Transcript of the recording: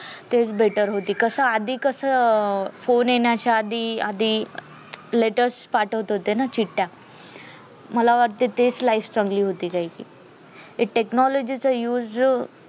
तेच better होती कस आधी कस फोन येण्याच्या आधी आधी latest पाठवत होते ना चिट्ट्या मला वाटतंय तेच life चांगली होती हे technology चा use जो